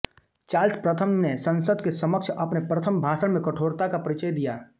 Charles प्रथम ने संसद के समक्ष अपने प्रथम भाषण में कठोरता का परिचय दिया